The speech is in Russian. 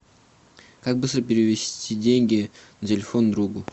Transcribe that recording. как быстро перевести деньги на телефон другу